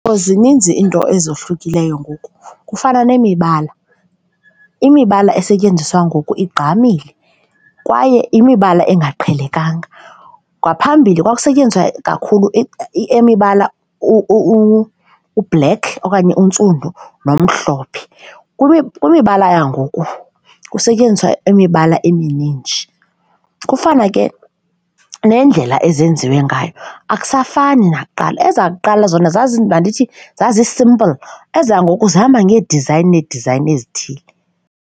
Zininzi iinto ezohlukileyo ngoku kufana nemibala, imibala esetyenziswa ngoku igqamile kwaye imibala engaqhelekanga. Ngaphambili kwakusetyenziswa kakhulu imibala u-black okanye untsundu nomhlophe. Kwimibala yangoku kusetyenziswa imibala eminintsi kufana ke nendlela ezenziwe ngayo akusafani nakuqala ezakuqala zona mandithi zazi-simple, ezangoku zihamba ngeedizayini needizayini ezithile.